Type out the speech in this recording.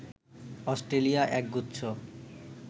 Australia এক গুচ্ছ